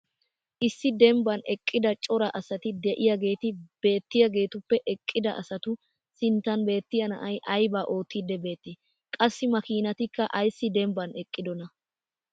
issi dembban eqida cora asati diyaageeti beettiyaageetuppe eqqida asatu sinttan beettiya naa"ay aybaa ottiidi beetii? qassi maakiinattikka ayssi dembban eqqidonaa?